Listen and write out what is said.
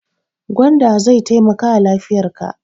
Gwanda zai taimakawa lafiyarka.